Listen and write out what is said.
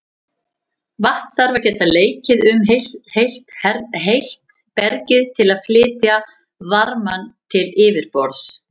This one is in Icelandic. Vatn þarf að geta leikið um heitt bergið til að flytja varmann til yfirborðs.